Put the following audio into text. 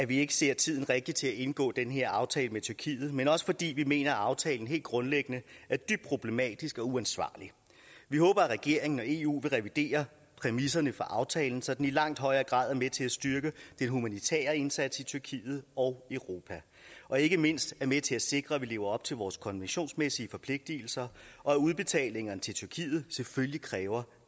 vi ikke ser tiden rigtig til at indgå den her aftale med tyrkiet men også fordi vi mener at aftalen helt grundlæggende er dybt problematisk og uansvarlig vi håber at regeringen og eu vil revidere præmisserne for aftalen så den i langt højere grad er med til at styrke den humanitære indsats i tyrkiet og europa og ikke mindst er med til at sikre at vi lever op til vores konventionsmæssige forpligtelser og at udbetalingerne til tyrkiet selvfølgelig kræver